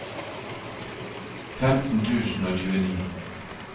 femten tusen og tjueni